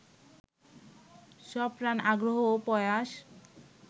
সপ্রাণ আগ্রহ ও প্রয়াস